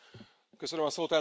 Elnök asszony!